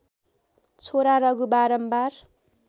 छोरा रघु बारम्बार